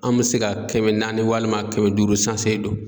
An bɛ se ka kɛmɛ naani walima kɛmɛ duuru sanse don.